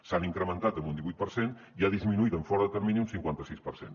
s’han incrementat en un divuit per cent i ha disminuït en fora de termini un cinquanta sis per cent